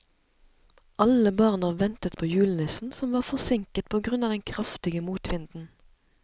Alle barna ventet på julenissen, som var forsinket på grunn av den kraftige motvinden.